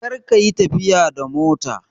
Kar ka yi tafiya da mota!